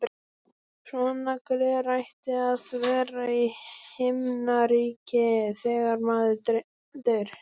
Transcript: Svona gler ætti að vera í Himnaríki þegar maður deyr.